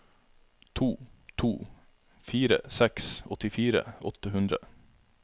to to fire seks åttifire åtte hundre